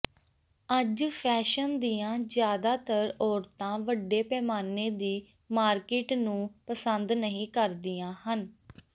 ਅੱਜ ਫੈਸ਼ਨ ਦੀਆਂ ਜ਼ਿਆਦਾਤਰ ਔਰਤਾਂ ਵੱਡੇ ਪੈਮਾਨੇ ਦੀ ਮਾਰਕੀਟ ਨੂੰ ਪਸੰਦ ਨਹੀਂ ਕਰਦੀਆਂ ਹਨ